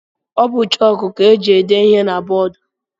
Ọ bụ chọk ka e ji ede ihe na bọọdu.